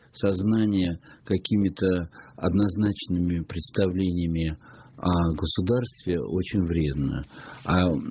сознание какими-то однозначными представлениями о государстве очень вредно